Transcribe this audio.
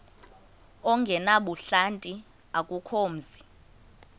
ongenabuhlanti akukho mzi